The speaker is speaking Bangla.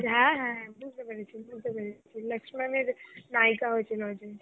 হ্যাঁ হ্যাঁ, বুঝতে পেরেছি, বুঝতে পেরেছি, লাস্কমানের নাইকা হয়ছিল যে.